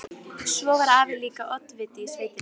Svo var afi líka oddviti í sveitinni.